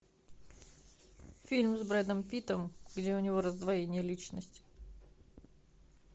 фильм с брэдом питтом где у него раздвоение личности